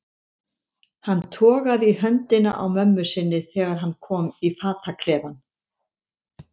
Hann togaði í höndina á mömmu sinni þegar hann kom í fataklefann.